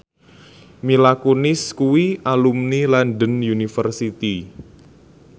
Mila Kunis kuwi alumni London University